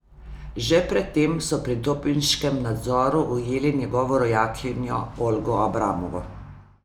Že pred tem so pri dopinškem nadzoru ujeli njegovo rojakinjo Olgo Abramovo.